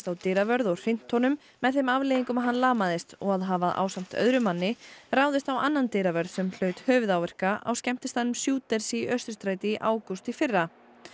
á dyravörð og hrint honum með þeim afleiðingum að hann lamaðist og að hafa ásamt öðrum manni ráðist á annan dyravörð sem hlaut höfuðáverka á skemmtistaðnum Shooters í Austurstræti í ágúst í fyrra